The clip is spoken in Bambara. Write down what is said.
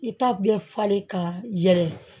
I ta bɛ falen ka yɛlɛ